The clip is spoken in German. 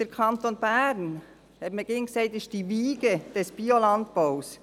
Vom Kanton Bern hat man immer gesagt, er sei die Wiege des Biolandbaus.